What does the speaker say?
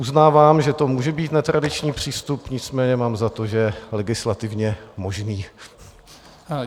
Uznávám, že to může být netradiční přístup, nicméně mám za to, že legislativně možný.